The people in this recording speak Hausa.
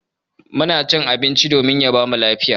Muna cin abinci domin ya bamu lafiya.